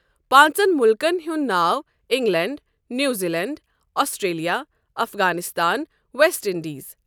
پانٛژن مُلکن ہُنٛد ناو England, New Zealand, Australia, Afghanistan, West Indies.